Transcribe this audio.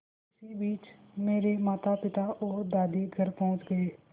इसी बीच मेरे मातापिता और दादी घर पहुँच गए